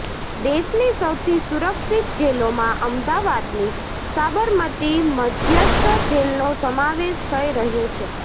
દેશની સૌથી સુરક્ષિત જેલોમાં અમદાવાદની સાબરમતી મધ્યસ્થ જેલનો સમાવેશ થઈ રહ્યો છે